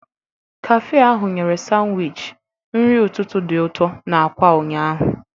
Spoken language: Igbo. Kafe ahụ nyere Sanwichi nri ụtụtụ dị ụtọ na akwa ụnyaahụ.